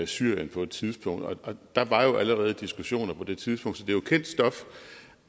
syrien på et tidspunkt der var jo allerede diskussioner på det tidspunkt så det er kendt stof